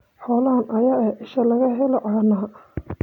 Xoolahan ayaa ah isha laga helo caanaha.